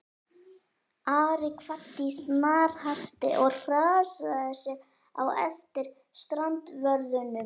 Ari kvaddi í snarhasti og hraðaði sér á eftir strandvörðunum.